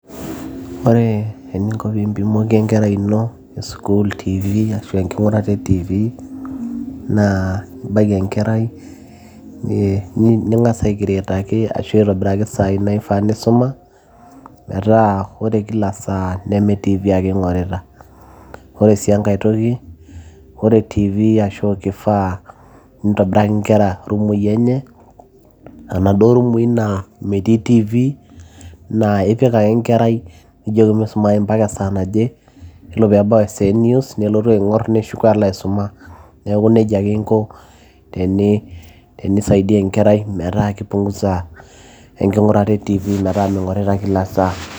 ore eninko piimpimoki enkerai ino e sukuul tv ashu enking'urata e tv naa ibaiki enkerai ning'as aikretaki ashu aitobiraki isaai naifaa nisuma metaa ore kila saa neme tv ake ing'orita ore sii enkae toki ore tv ashu kifaa nintobiraki inkera irumui enye aanaduo rumui naa metii tv naa ipik ake enkerai nijoki misumayu mpaka esaa naje yiolo peebau esaa e news nelotu aing'orr neshuko alo aisuma neeku nejia ake inko tenisaidia enkerai metaa kipunguza enking'urata etv metaa ming'orita kila saa.